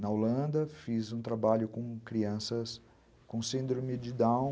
Na Holanda fiz um trabalho com crianças com síndrome de Down.